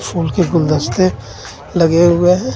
फूल के गुलदस्ते लगे हुए हैं.